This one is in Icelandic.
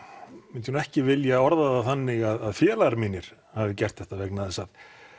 myndi ég ekki vilja orða það þannig að félagar mínir hafi gert þetta vegna þess að